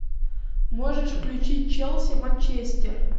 можешь включить челси манчестер